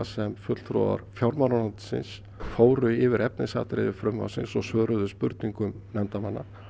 sem fulltrúar fjármálaráðuneytisins fóru yfir efnisatriði frumvarpsins og svöruðu spurningum nefndarmanna